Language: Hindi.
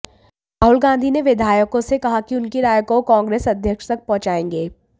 राहुल गांधी ने विधायकों से कहा कि उनकी राय को वो कांग्रेस अध्यक्ष तक पहुंचाएंगे